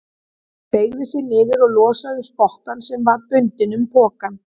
Beygði sig niður og losaði um spottann sem var bundinn um pokann.